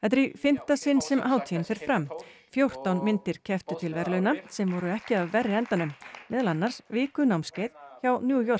er í fimmta sinn sem hátíðin fer fram fjórtán myndir kepptu til verðlauna sem voru ekki af verri endanum meðal annars vikunámskeið hjá New York